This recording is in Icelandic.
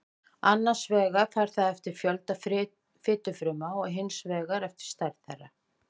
annars vegar fer það eftir fjölda fitufrumna og hins vegar eftir stærð þeirra